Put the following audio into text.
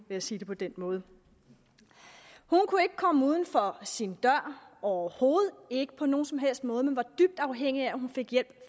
vil sige det på den måde hun kunne ikke komme uden for sin dør overhovedet ikke på nogen som helst måde men var dybt afhængig af at hun fik hjælp